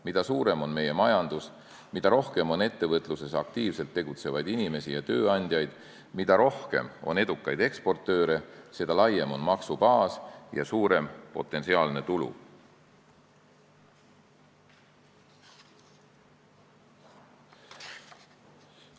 Mida suurem on meie majandus, mida rohkem on ettevõtluses aktiivselt tegutsevaid inimesi ja tööandjaid, mida rohkem on edukaid eksportööre, seda laiem on maksubaas ja suurem potentsiaalne tulu.